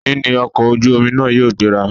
Òní ní ọ̀kọ̀ ojú omi náà yóò gbéra